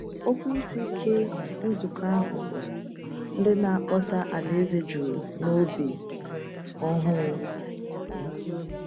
Okwu isi nke nzukọ ahụ bụ “Ndị Na-akpọsa Alaeze Juru N’obi Ọhụụ.”